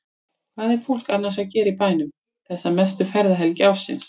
Hvað er fólk annars að gera í bænum þessa mestu ferðahelgi ársins?